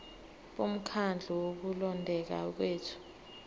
bomkhandlu wokulondeka kwethu